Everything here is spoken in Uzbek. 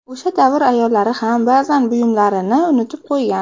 O‘sha davr ayollari ham ba’zan buyumlarini unutib qo‘ygan.